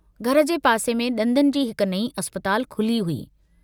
घर जे पासे में दंदनि जी हिक नईं अस्पताल खुली हुई।